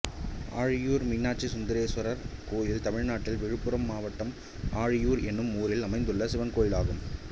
ஆழியூர் மீனாட்சிசுந்தரேஸ்வரர் கோயில் தமிழ்நாட்டில் விழுப்புரம் மாவட்டம் ஆழியூர் என்னும் ஊரில் அமைந்துள்ள சிவன் கோயிலாகும்